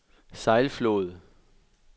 Sejlflod